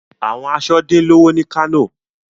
Awọn aṣọ din lowo ni ilu Kano